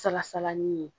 Salasala nin ye